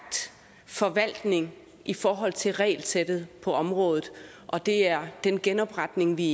forvaltning i forhold til regelsættet på området og det er den genopretning vi